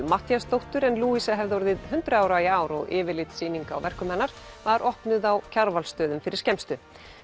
Matthíasdóttur en hefði orðið hundrað ára í ár og yfirlitssýning á verkum hennar var opnuð á Kjarvalsstöðum fyrir skemmstu